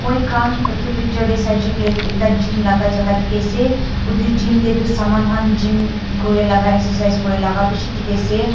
Moi kan etu picture dae saishae kuilae ekta gym laka jaka tiki ase otu gym dae tu saman kan gym kure laka exercise kure laka bishi tiki ase.